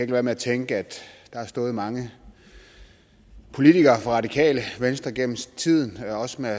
være med at tænke at der har stået mange politikere fra radikale venstre gennem tiden også med